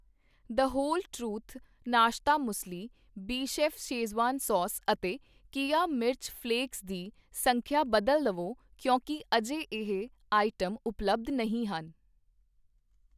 ਦ Whole Truth ਨਾਸ਼ਤਾ muesli, ਬਿਚੀਫ਼ schezwan sauce ਅਤੇ ਕੀਆ ਮਿਰਚ ਫ਼ਲੈਕਸ ਦੀ ਸੰਖਿਆ ਬਦਲ ਲਵੋ ਕਿਉਂਕਿ ਅਜੇ ਇਹ ਆਈਟਮ ਉਪਲੱਬਧ ਨਹੀਂ ਹਨ